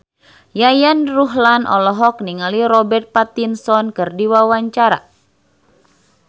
Yayan Ruhlan olohok ningali Robert Pattinson keur diwawancara